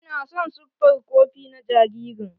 Ina son siffar kopi na jaririn.